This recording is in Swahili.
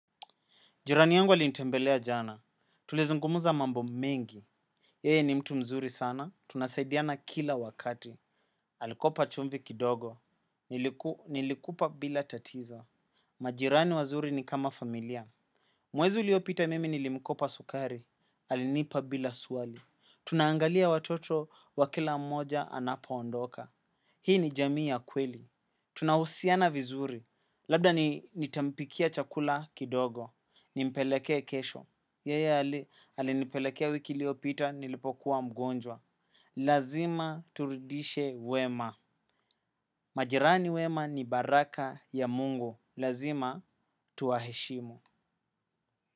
Jirani yangu alinitembelea jana, tulizungumza mambo mengi. Yeye ni mtu mzuri sana, tunasaidiana kila wakati. Alikopa chumvi kidogo, nilikupa bila tatizo. Majirani wazuri ni kama familia. Mwezi uliopita mimi nilimkopa sukari, alinipa bila swali. Tunaangalia watoto wa kila mmoja anapoondoka. Hii ni jamii ya kweli. Tunahusiana vizuri, labda nitampikia chakula kidogo. Nimpelekee kesho. Yeye alinipelekea wiki iliyopita nilipokuwa mgonjwa. Lazima turudishe wema. Majirani wema ni baraka ya mungu. Lazima tuwaheshimu.